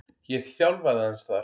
Ég þjálfaði aðeins þar.